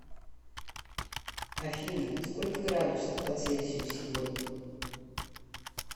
афина сколько градусов по цельсию сегодня